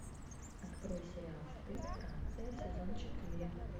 открой сериал стыд франция сезон четыре